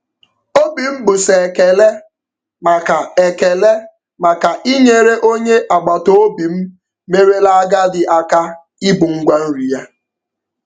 Obi m bụ sọ ekele maka ekele maka inyere onye agbataobi m merela agadi aka ibu ngwa nri ya.